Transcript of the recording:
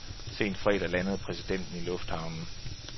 Sent fredag landede præsidenten i lufthavnen.